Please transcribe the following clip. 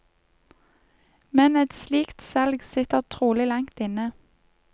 Men et slikt salg sitter trolig langt inne.